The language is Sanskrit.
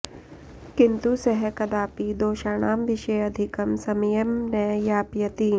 किन्तु सः कदापि दोषाणां विषये अधिकं समयं न यापयति